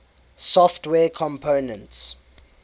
software components